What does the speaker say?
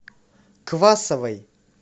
квасовой